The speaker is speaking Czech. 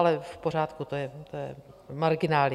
Ale v pořádku, to je marginálie.